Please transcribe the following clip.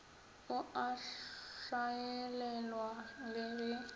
o a hlaelelwa le ge